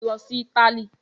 Lọ sí Italy!